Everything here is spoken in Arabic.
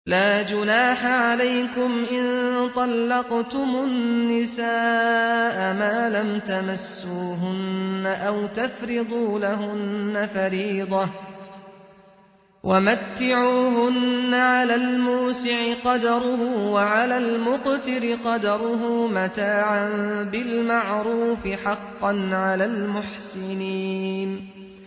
لَّا جُنَاحَ عَلَيْكُمْ إِن طَلَّقْتُمُ النِّسَاءَ مَا لَمْ تَمَسُّوهُنَّ أَوْ تَفْرِضُوا لَهُنَّ فَرِيضَةً ۚ وَمَتِّعُوهُنَّ عَلَى الْمُوسِعِ قَدَرُهُ وَعَلَى الْمُقْتِرِ قَدَرُهُ مَتَاعًا بِالْمَعْرُوفِ ۖ حَقًّا عَلَى الْمُحْسِنِينَ